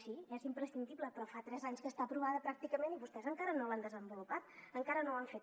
sí és imprescindible però fa tres anys que està aprovada pràcticament i vostès encara no l’han desenvolupat encara no ho han fet